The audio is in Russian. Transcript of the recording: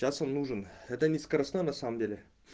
час он нужен это не скоростной на самом деле